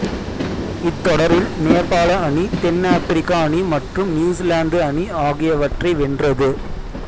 இத்தொடரில் நேபாள அணி தென் ஆப்பிரிக்க அணி மற்றும் நியூசிலாந்து அணி ஆகியவற்றை வென்றது